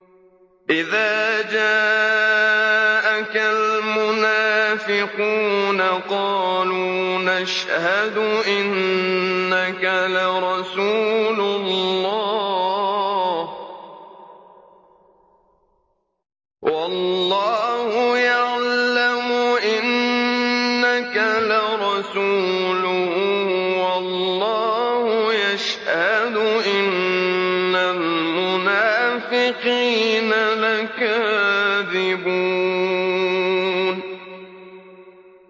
إِذَا جَاءَكَ الْمُنَافِقُونَ قَالُوا نَشْهَدُ إِنَّكَ لَرَسُولُ اللَّهِ ۗ وَاللَّهُ يَعْلَمُ إِنَّكَ لَرَسُولُهُ وَاللَّهُ يَشْهَدُ إِنَّ الْمُنَافِقِينَ لَكَاذِبُونَ